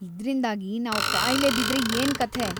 ಇದ್ರಿಂದಾಗಿ ನಾವ್‌ ಕಾಯಿಲೆ ಬಿದ್ರೆ ಏನ್ಕಥೆ?